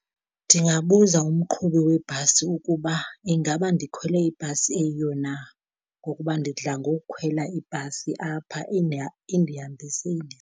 Ndingabuza umqhubi webhasi ukuba ingaba ndikhwele ibhasi eyiyo na, ngokuba ndidla ngokukhwela ibhasi apha indihambise .